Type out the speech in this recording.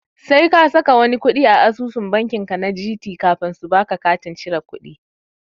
Sai ka saka wani kuɗi a asusu banki ka na Gt kafin su baka katin cire kudi.